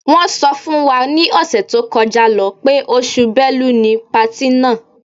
Wọ́n sọ fún wa ni ọ̀sẹ̀ tó kọjá lọ́ pé oṣù Bẹ́lu ni patí náà.